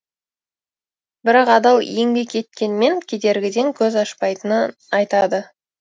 бірақ адал еңбек еткенмен кедергіден көз ашпайтынын айтады